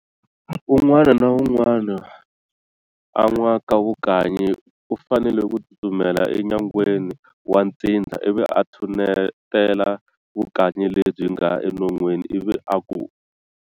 Un'wana na un'wana a nwaka vukanyi u fanele ku tsutsumela e nyangweni wa ntsindza ivi a tshutela vukanyi lebyi nga e nonweni ivi aku.